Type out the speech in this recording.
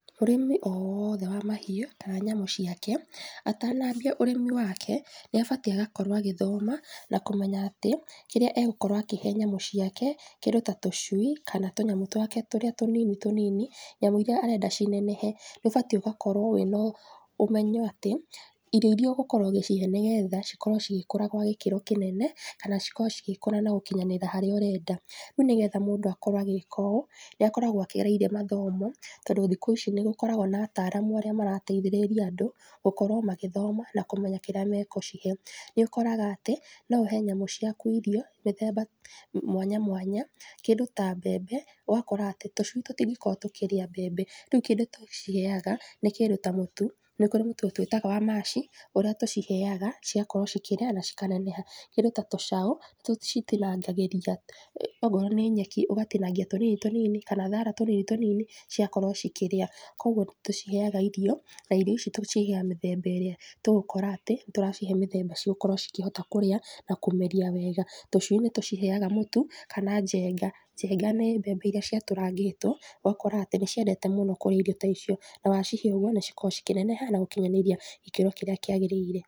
Mũrĩmi o wothe wa mahiũ, kana nyamũ ciake, atanambia ũrĩmi wake, nĩabatiĩ agakorwo agĩthoma, nakũmenya atĩ, kĩrĩa agũkorwo akĩhe nyamũ ciake, kĩndũ ta tũcui, kana tũnyamũ twake tũrĩa tũnini tũnini, nyamũ iria arenda cinenehe, nĩũbatiĩ gũkorwo wĩ nomenyo atĩ, irio iria ũgũkorwo ũgĩcihe nĩgetha cikorwo cigĩkũra gwa gĩkĩro kĩnene, kana cikorwo cigĩkũra na gũkinyanĩra harĩa ũrenda, rĩu nĩgetha mũndũ akorwo agĩka ũũ, nĩakoragwo akĩgereire mathomo, tondũ thikũ ici nĩgũkoragwo na ataramu arĩa marateithĩrĩria andu, gũkorwo magĩthoma, na kúmenya kĩrĩa megũcihe, nĩũkoraga atĩ, noũhe nyamũ ciaku irio mĩthemba, mwanya mwanya, kĩndũ ta mbembe, ũgakora atĩ tũcui tũtingĩkorwo tũkĩrĩa mbembe, rĩu kĩndũ tũciheaga, nĩ kĩndũ ta mũtu, nĩkũrĩ mũtu twĩtaga wa mash, ũrĩa tũciheaga, cigakorwo cikĩrĩa na cikaneneha, kĩndũ ta tũcaũ, tũcitinangagĩria, okorwo nĩ nyeki, ũgatinangia tũnini tũnini, kana thara tũnini tũnini, cigakorwo cikĩrĩa, koguo nĩtũciheaga irio, na irio ici tũciheaga mĩthemba ĩrĩa, tũgũkora atĩ, nĩtũracihe mĩthemba cigũkorwo cikĩhota kũrĩa, na kũmeria wega, tũcui nĩtũciheaga mũtu, kana njenga, njenga nĩ mbembe iria ciatũrangĩtwo, ũgakora atĩ nĩciendete mũno kũrĩa irio ta icio, na wacihe nĩcikoragwo cikĩneneha na gũkinyanĩria gĩkĩro kĩrĩa kĩagĩrĩire.